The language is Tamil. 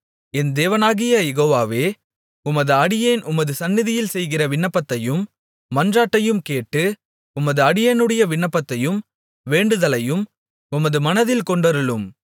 என் தேவனாகிய யெகோவாவே உமது அடியேன் உமது சந்நிதியில் செய்கிற விண்ணப்பத்தையும் மன்றாட்டையும் கேட்டு உமது அடியேனுடைய விண்ணப்பத்தையும் வேண்டுதலையும் உமது மனதில் கொண்டருளும்